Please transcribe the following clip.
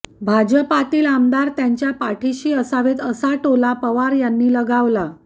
भाजपातील आमदार त्यांच्या पाठिशी असावेत असा टोला पवार यांनी लगावला